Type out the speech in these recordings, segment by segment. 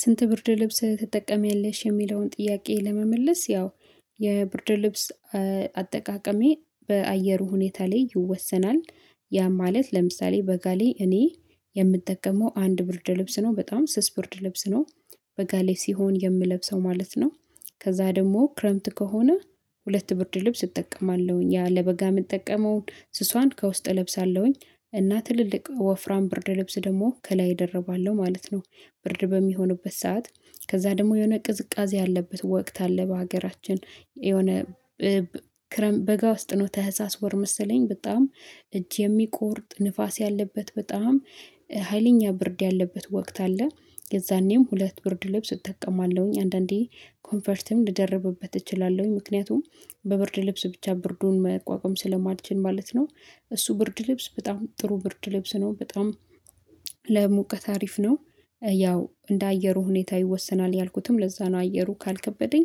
ስንት ብርድ ልብስ ትጠቀሚያለሽ የሚለውን ጥያቄ ለመመለስ ያው ስንት ብርድ ልብስ ትጠቀሚያለሽ የሚለውን ጥያቄ ለመመለስ? ያው ያ ማለት ለምሳሌ በጋ ላይ እኔ የምጠቀመው አንድ ብርድ ልብስ ነው በጣም ስስ ብርድ ልብስ ነው በጋ ሲሆን የምለብሰው ማለት ነው። ከዛ ደግሞ ክረምት ከሆነ ሁለት ብርድ ልብስ እጠቀማለሁኝ ያ ለበጋ የምጠቀመውን ስሷን ከውስጥ እለብሳለሁኝ እና ትልልቅ ወፍራም ብርድ ለብስ ደግሞ ከላይ እደርባለሁ ማለት ነው። ብርድ በሚሆንበት ሰዓት ከዛ ደግሞ የሆነ ቅዝቃዜ ያለበት ወቅት አለ በሀገራችን የሆነ ክረምት በጋ ውስጥ ነው ታህሳስ ወር መሰለኝ በጣም እጅ የሚቆርጥ ንፋስ ያለበት በጣም ሀይለኛ ብርድ ያለበት ወቅት አለ። የዛኔም ሁለት ብርድ ልብስ እጠቀማለሁኝ አንዳንዴ ኮንፈርትም ልደርብበት እችላለሁኝ ምክንያቱም በብርድ ልብስ ብቻ ብርዱን መቋቋም ስለማልችል ማለት ነው። እሱ ብርድ ልብስ በጣም ጥሩ ብርድ ልብስ ነው በጣም ለሙቀት አሪፍ ነው። ያው እንደ አየሩ ሁኔታ ይወሰናል ያልኩትም ለዛ ነው። አየሩ ካልከበደኝ።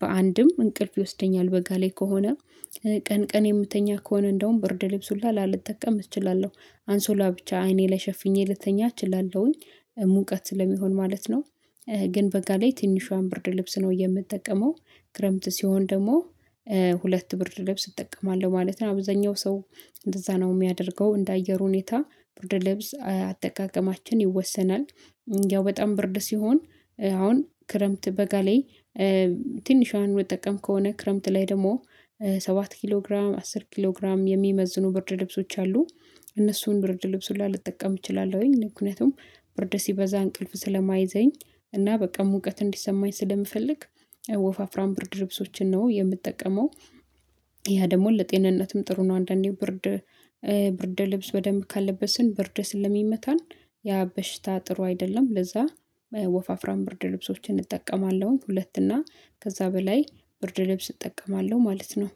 በአንድም እንቅልፍ ይወስደኛል በጋ ላይ ከሆነ ቀን ቀን የምተኛ ከሆነ እንደውም ብርድ ልብሱን ላልጠቀም እችላለሁ አንሶላ ብቻ አይኔ ላይ ሸፍኜ ልተኛ እላለሁኝ ሙቀት ስለሚሆን ማለት ነው። ግን በጋ ላይ ትንሿን ብርድ ልብስ ነው የምጠቀመው። ክረምት ሲሆን ደግሞ ሁለት ብርድ ልብስ እጠቀማለሁ ማለት ነው። አብዛኛው ሰው እንደዛ ነው የሚያደርገው እንደ አየር ሁኔታ ብርድ ልብስ አጠቃቀማችን ይወሰናል። ያው በጣም ብርድ ሲሆን አሁን ክረምት በጋ ላይ ትንሿን የምጠቀም ከሆነ ክረምት ላይ ደግሞ ሰባት ኪሎ ግራም አስር ኪሎ ግራም የሚመዝኑ ብርድ ልብሶች አሉ። እነሱን ብርድ ልብስ ሁላ ልጠቀም እችላለሁኝ ምክንያቱም ብርድ ሲበዛ እንቅልፍ ስለማይዘኝ እና በቃ ሙቀት እንዲሰማኝ ስለምፈልግ ወፋፍራም ብርድ ልብሶችን ነው የምጠቀመው። ያ ደግሞ ለጤንነትም ጥሩ ነው አንዳንዴ ብርድ ብርድ ልብስ በደንብ ካለበስን ብርድ ስለሚመታን ያ በሽታ ጥሩ አይደለም። ለዛ ወፋፍራም ብርድ ልብሶችን እጠቀማለሁ ሁለት እና ከዛ በላይ ብርድ ልብስ እጠቀማለሁ ማለት ነው።